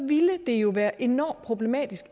ville det jo være enormt problematisk